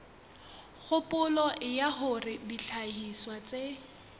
kgopolo ya hore dihlahiswa tse